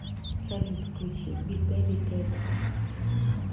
салют включи биг бейби тейп факс